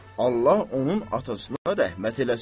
Allah onun atasına rəhmət eləsin.